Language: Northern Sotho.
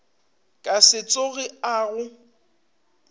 ka se tsoge a go